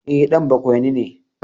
E, ɗan bakwaini ne.